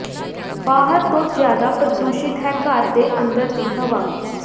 ਬਾਹਰ ਤੋਂ ਜ਼ਿਆਦਾ ਪ੍ਰਦੂਸ਼ਿਤ ਹੈ ਘਰ ਦੇ ਅੰਦਰ ਦੀ ਹਵਾ